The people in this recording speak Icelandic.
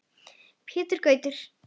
Pétur Gautur.